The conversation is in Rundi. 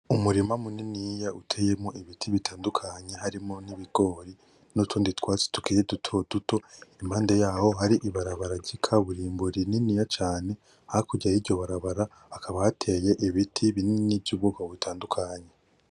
Umurima muniniya uteyemwo ibiti bitandukanye harimwo ibigori n’utundi twatsi tukiri duto duto impande yaho hari ibarabara ry'ikaburimbo rininiya cane hakurya yiryo barabara hakaba hateye ibiti binini vy'ubwoko butandukanye.